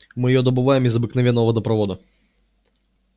мы её добываем из обыкновенного водопровода